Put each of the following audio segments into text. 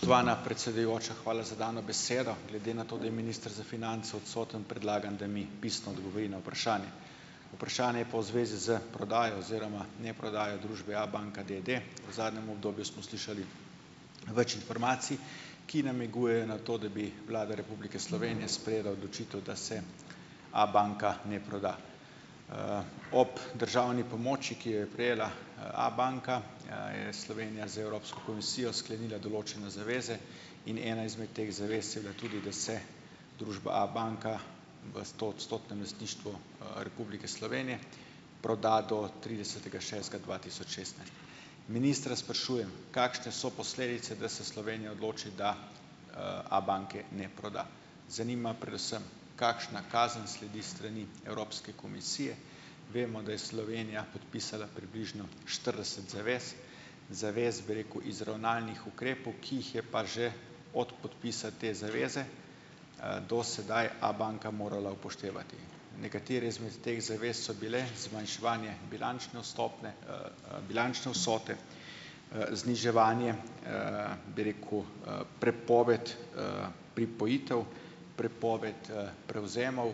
Spoštovana predsedujoča, hvala za dano besedo. Glede na to, da je minister za finance odstoten, predlagam, da mi pisno odgovori na vprašanje. Vprašanje je pa v zvezi s prodajo oziroma neprodajo družbe Abanka d. d. V zadnjem obdobju smo slišali več informacij, ki namigujejo na to, da bi Vlada Republike Slovenije sprejela odločitev, da se Abanka ne proda. Ob državni pomoči, ki jo je prejela, Abanka, je Slovenija z Evropsko komisijo sklenila določene zaveze in ena izmed teh zavez je bila tudi, da se družba Abanka v stoodstotnem lastništvu, Republike Slovenije proda do tridesetega šestega dva tisoč šestnajst Ministra sprašujem: Kakšne so posledice, da se Slovenija odloči, da, Abanke ne proda? Zanima predvsem, kakšna kazen sledi s strani Evropske komisije, vemo, da je Slovenija podpisala približno štirideset zavez, zavez, bi rekel, izravnalnih ukrepov, ki jih je pa že od podpisa te zaveze, do sedaj Abanka morala upoštevati. Nekatere izmed teh zavez so bile zmanjševanje bilančne vstopne, bilančne vsote, zniževanje, bi rekel, prepoved, pripojitev, prepoved, prevzemov,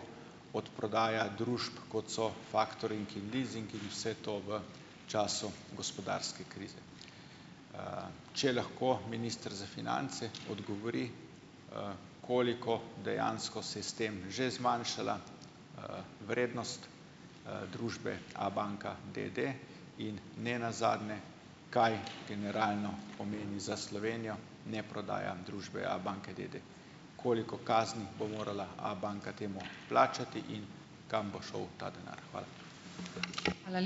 odprodaja družb kot so faktoring in lizing in vse to v času gospodarske krize. Če lahko minister za finance odgovori, koliko dejansko se je s tem že zmanjšala, vrednost, družbe Abanka d. d. In nenazadnje kaj generalno pomeni za Slovenijo neprodaja družbe Abanke d. d.? Koliko kazni bo morala Abanka temu plačati in kam bo šel ta denar? Hvala.